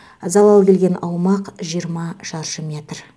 залал келген аумақ жиырма шаршы метр